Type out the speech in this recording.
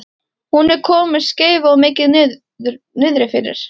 Hún er komin með skeifu og er mikið niðrifyrir.